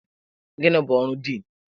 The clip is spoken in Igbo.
Gịnị bụ ọrụ Diin?